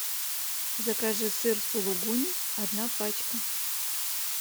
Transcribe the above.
закажи сыр сулугуни одна пачка